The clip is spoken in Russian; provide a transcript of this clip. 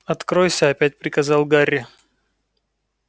откройся опять приказал гарри